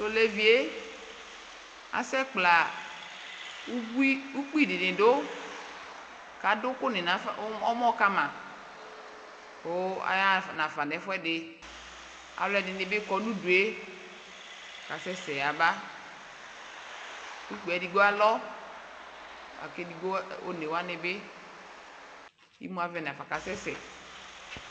Tɔlevie asɛ kpla ukpi diniidu kaduku nɛmɔ kamaayaɣa nafa ɛfuɛdi kaluɛdinibi kɔ nudue kasɛsɛ yaba edigbo lalɔ kimuavɛ nafa kasɛsɛ